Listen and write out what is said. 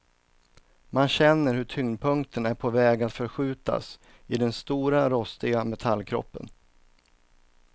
Man känner hur tyngdpunkten är på väg att förskjutas i den stora rostiga metallkroppen.